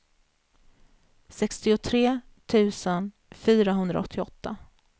sextiotre tusen fyrahundraåttioåtta